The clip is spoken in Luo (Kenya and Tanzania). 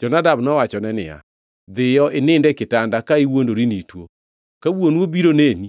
Jonadab nowachone niya, “Dhiyo inind e kitanda ka iwuondri ni ituo. Ka wuonu obiro neni,